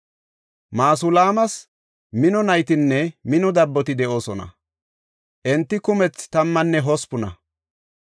Masulaamas mino naytinne mino dabboti de7oosona; enti kumethi tammanne hospuna.